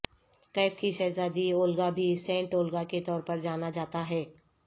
کیف کی شہزادی اولگا بھی سینٹ اولگا کے طور پر جانا جاتا ہے